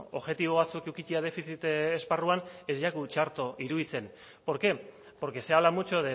objetibo batzuk edukitzea defizit esparruan ez zaigu txarto iruditzen por qué porque se habla mucho